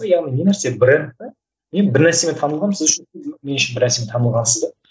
яғни не нәрсе бренд пе мен бір нәрсемен танылғанмын сіз үшін мен үшін бір нәрсемен танылғансыз да